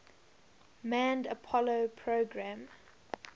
manned apollo program